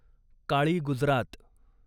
काळी गुजरात